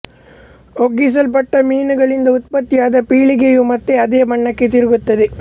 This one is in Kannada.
ಒಗ್ಗಿಸಲ್ಪಟ್ಟ ಮೀನುಗಳಿಂದ ಉತ್ಪತ್ತಿಯಾದ ಪೀಳಿಗೆಯು ಮತ್ತೆ ಅದೇ ಬಣ್ಣಕ್ಕೆ ತಿರುಗುತ್ತದೆ